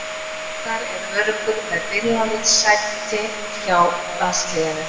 Ragnar er öruggur með byrjunarliðssæti hjá landsliðinu.